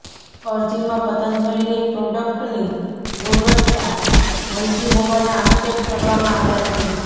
અરજીમાં પતંજલીની પ્રોડકટની ગુણવત્તા હલકી હોવાના આક્ષેપ કરવામાં આવ્યા છે